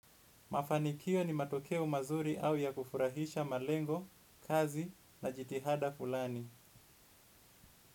Mafanikio ni matokeo mazuri au ya kufurahisha malengo, kazi na jitihada fulani.